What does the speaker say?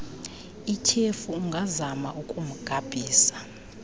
ityhefu ungazama ukumgabhisa